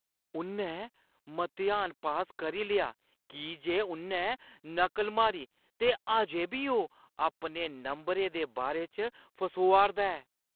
उʼन्नै मतेहान पास करी लेआ की जे उʼन्नै नकल मारी ते अजें बी ओह् अपने नंबरें दे बारे च फसोआ 'रदा ऐ।